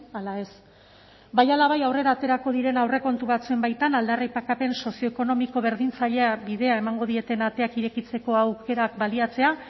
ala ez bai ala bai aurrera aterako diren aurrekontu batzuen baitan aldarrikapen sozioekonomiko berdintzailea bidea emango dieten ateak irekitzeko aukerak baliatzea